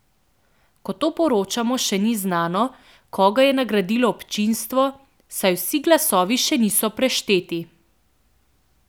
Ko to poročamo, še ni znano, koga je nagradilo občinstvo, saj vsi glasovi še niso prešteti.